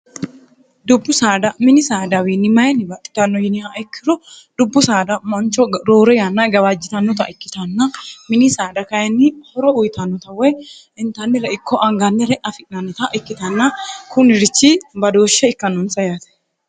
dubbu saada mini saadawiinni mayinni baxxitanno yiniha ikkiro dubbu saada mancho roore yanna gawaajjitannota ikkitanna mini saada kayinni horo uyitannota woy intannire ikko angannire afi'nannota ikkitanna kunirichi badooshshe ikkannoonsa yaate